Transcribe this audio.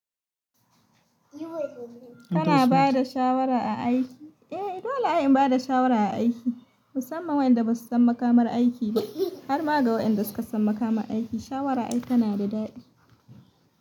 Kana ba da shawara a aiki? Eh dole ai in ba da shawara a aiki, musamman waɗanda ba su san makamar aiki ba. Har ma ga waɗanda suka san makamar aiki, shawara ai tana da daɗi.